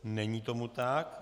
Není tomu tak.